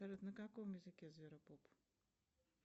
салют на каком языке зверопоп